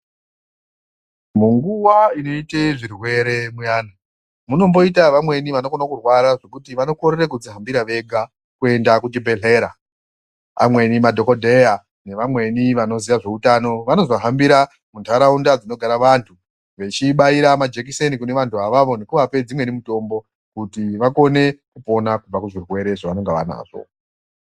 Munguwa inoite zvirwere muyani munomboita vamweni vanokone kurwara zvekuti vanokorere kudzihambira vega kuenda kuchibhedhlera amweni madhokodheya nevamweni vanoziya zveutano vanozohambira muntaraunda dzinogara vanthu vechibaira majekiseni kune vanthu avavo nekuvapa dzimweni mutombo kuti vakone kupona kubva kuzvirwere zvavanenge vanazvo.